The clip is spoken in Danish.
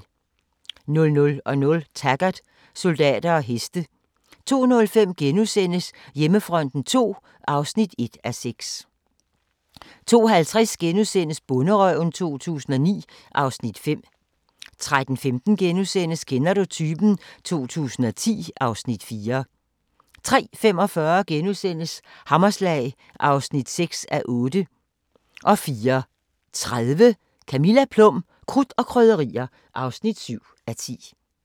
00:00: Taggart: Soldater og heste 02:05: Hjemmefronten II (1:6)* 02:50: Bonderøven 2009 (Afs. 5)* 03:15: Kender du typen? 2010 (Afs. 4)* 03:45: Hammerslag (6:8)* 04:30: Camilla Plum - krudt og krydderier (7:10)